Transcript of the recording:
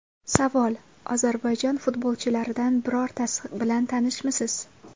Savol: Ozarbayjon futbolchilaridan birortasi bilan tanishmisiz?